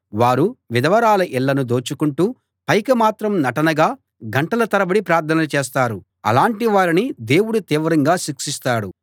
వారు విధవరాళ్ళ ఇళ్ళను దోచుకుంటూ పైకి మాత్రం నటనగా గంటల తరబడి ప్రార్థనలు చేస్తారు అలాంటి వారిని దేవుడు తీవ్రంగా శిక్షిస్తాడు